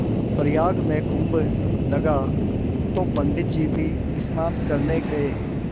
प्रयाग में कुम्भ लगा तो पंडित जी भी स्नान करने गये